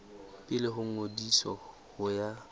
pele ho ngodiso ho ya